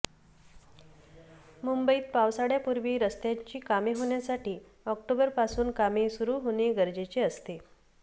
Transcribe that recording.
मुंबईत पावसाळ्यापूर्वी रस्त्यांची कामे होण्यासाठी ऑक्टोबरपासून कामे सुरू होणे गरजेचे असते